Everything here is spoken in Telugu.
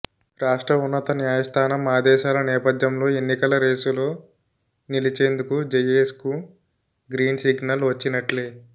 రాష్ట్ర ఉన్నత న్యాయస్థానం ఆదేశాల నేపథ్యంలో ఎన్నికల రేసులో నిలిచేందుకు జయేశ్కు గ్రీన్సిగ్నల్ వచ్చినట్లే